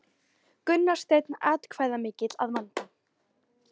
Gunnar Steinn atkvæðamikill að vanda